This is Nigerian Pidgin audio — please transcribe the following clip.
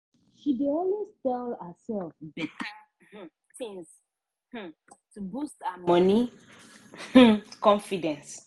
she dey always tell herself better um things um to boost her money um confidence.